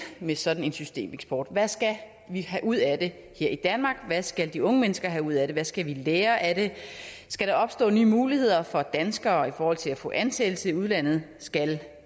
med sådan en systemeksport hvad skal vi have ud af det her i danmark hvad skal de unge mennesker have ud af det hvad skal vi lære af det skal der opstå nye muligheder for danskere i forhold til at få ansættelse i udlandet skal